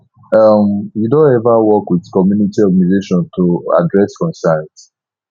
um you don ever work with community organization to address concerns